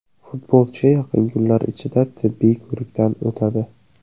Futbolchi yaqin kunlar ichida tibbiy ko‘rikdan o‘tadi.